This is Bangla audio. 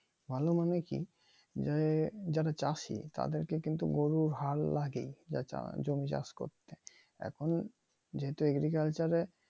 ভালো মানে কি যারা যাদের চাষি তাদের কে কিন্তু গরুর হাল লাগেই তারা জমি চাষ করতে এখন যেহেতু agriculture এ